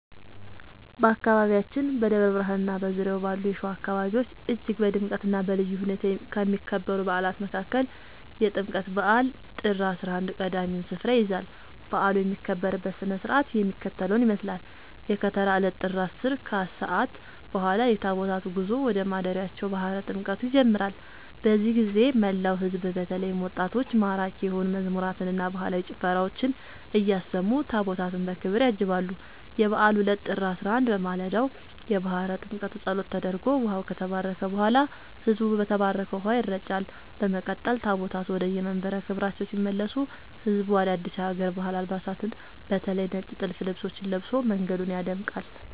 በአካባቢያችን በደብረ ብርሃንና በዙሪያው ባሉ የሸዋ አካባቢዎች እጅግ በድምቀትና በልዩ ሁኔታ ከሚከበሩ በዓላት መካከል የጥምቀት በዓል (ጥር 11) ቀዳሚውን ስፍራ ይይዛል። በዓሉ የሚከበርበት ሥነ ሥርዓት የሚከተለውን ይመስላል፦ የከተራ ዕለት (ጥር 10)፦ ከሰዓት በኋላ የታቦታቱ ጉዞ ወደ ማደሪያቸው (ባሕረ ጥምቀቱ) ይጀምራል። በዚህ ጊዜ መላው ሕዝብ በተለይም ወጣቶች ማራኪ የሆኑ መዝሙራትንና ባህላዊ ጭፈራዎችን እያሰሙ ታቦታቱን በክብር ያጅባሉ። የበዓሉ ዕለት (ጥር 11)፦ በማለዳው የባሕረ ጥምቀቱ ጸሎት ተደርጎ ውኃው ከተባረከ በኋላ፣ ሕዝቡ በተባረከው ውኃ ይረጫል። በመቀጠል ታቦታቱ ወደየመንበረ ክብራቸው ሲመለሱ ሕዝቡ አዳዲስ የሀገር ባህል አልባሳትን (በተለይ ነጭ ጥልፍ ልብሶችን) ለብሶ መንገዱን ያደምቃል።